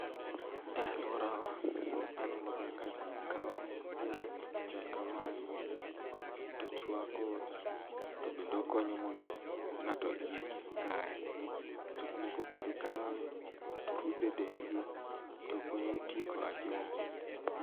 E aluorawa anenoga ka jikawo yath machal kamae tochuako to bende okonyo mondo ng'ato iye kik kaye. Jok moko bende kawe torudho edendgi tokonyo tieko ajumbe.